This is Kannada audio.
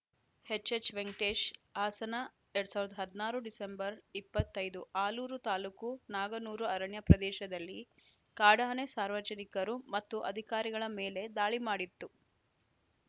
ಎಚ್‌ಎಚ್‌ ವೆಂಕಟೇಶ್‌ ಹಾಸನ ಎರಡ್ ಸಾವಿರದ ಹದಿನಾರು ಡಿಸೆಂಬರ್‌ ಇಪ್ಪತ್ತ್ ಐದು ಆಲೂರು ತಾಲೂಕು ನಾಗನೂರು ಅರಣ್ಯ ಪ್ರದೇಶದಲ್ಲಿ ಕಾಡಾನೆ ಸಾರ್ವಜನಿಕರು ಮತ್ತು ಅಧಿಕಾರಿಗಳ ಮೇಲೆ ದಾಳಿ ಮಾಡಿತ್ತು